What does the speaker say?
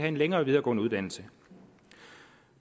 en længere videregående uddannelse